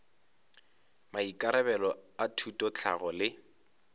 maikarabelo a thuto tlhahlo le